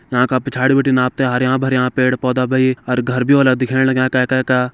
यां का पिछाड़ि बटिन आपते हरयां भरयां पेड़ पोधा भई और घर बि होला दिखेण लग्यां कयै-कयै का।